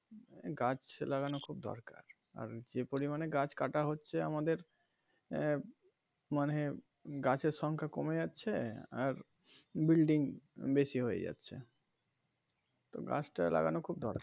গাছ লাগানো খুব দরকার আর যে পরিমানে গাছ কাটা হচ্ছে আমাদের আহ মানে গাছের সংখ্যা কমে যাচ্ছে আর bulding বেশি হয়ে যাচ্ছে তো গাছ টা লাগানো খুব দরকার.